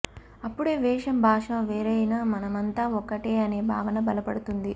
అప్పుడే వేషం భాష వేరైనా మనమంతా ఒక్కటే అనే భావన బలపడుతుంది